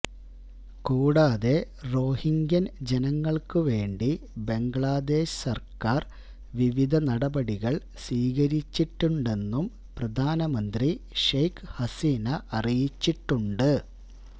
കൂടാതെ റോഹിങ്ക്യൻ ജനങ്ങൾക്ക് വേണ്ടി ബംഗ്ലാദേശ് സർക്കാർ വിവിധ നടപടികൾ സ്വീകരിച്ചിട്ടുണ്ടെന്നും പ്രധാനമന്ത്രി ഷേഖ് ഹസീന അറിയിച്ചിട്ടുണ്ട്